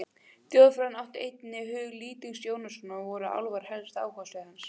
Þjóðfræðin átti einnig hug Lýtings Jónssonar og voru álfar helsta áhugasvið hans.